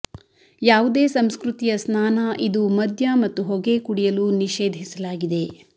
ಯಾವುದೇ ಸಂಸ್ಕೃತಿಯ ಸ್ನಾನ ಇದು ಮದ್ಯ ಮತ್ತು ಹೊಗೆ ಕುಡಿಯಲು ನಿಷೇಧಿಸಲಾಗಿದೆ